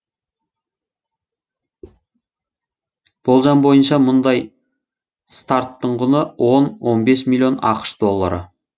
болжам бойынша мұндай старттың құны он он бес миллион ақш доллары